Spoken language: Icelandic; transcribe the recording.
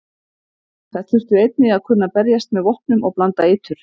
Þær þurftu einnig að kunna berjast með vopnum og blanda eitur.